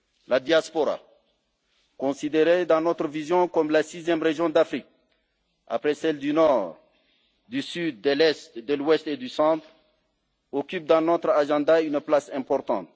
La diaspora, considérée dans notre vision comme la sixième région d'Afrique après celles du Nord, du Sud, de l'Est, de l'Ouest et du Centre, occupe dans notre agenda une place importante.